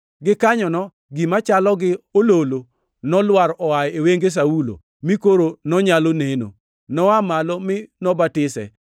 Gikanyono gima chalo gi ololo nolwar oa e wenge Saulo mi koro nonyalo neno. Noa malo mi nobatise,